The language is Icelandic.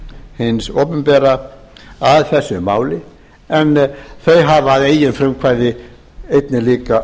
hins opinbera að þessu máli en þau hafa að eigin frumkvæði einnig líka